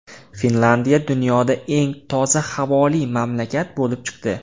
Finlyandiya dunyoda eng toza havoli mamlakat bo‘lib chiqdi.